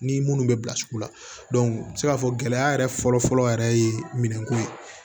Ni minnu bɛ bilasira i bɛ se k'a fɔ gɛlɛya yɛrɛ fɔlɔ fɔlɔ yɛrɛ ye minɛnko ye